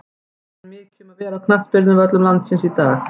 Ekki er mikið um að vera á knattspyrnuvöllum landsins í dag.